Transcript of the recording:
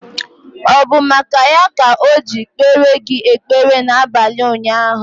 Ọ bụ maka ya ka o ji kpere gị ekpere na abalị ụnyaahụ?